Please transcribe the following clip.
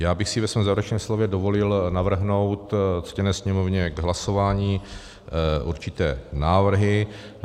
Já bych si ve svém závěrečném slově dovolil navrhnout ctěné Sněmovně k hlasování určité návrhy.